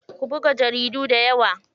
Ku buga jaridu dayawa.